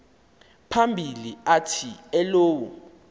phambili athi elowo